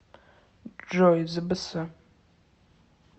джой збс